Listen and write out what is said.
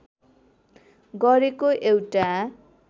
गरेको एउटा